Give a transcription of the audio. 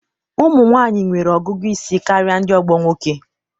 ụmụ nwanyị nwere ọgụgụ isi karịa ndị ogbo nwoke.